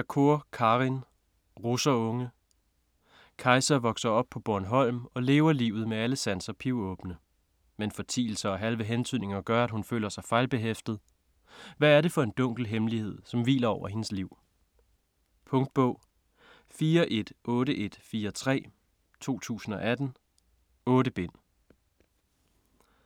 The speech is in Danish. Shakoor, Karin: Russerunge Kajsa vokser op på Bornholm og lever livet med alle sanser pivåbne. Men fortielser og halve hentydninger gør, at hun føler sig fejlbehæftet. Hvad er det for en dunkel hemmelighed, som hviler over hendes liv? Punktbog 418143 2018. 8 bind.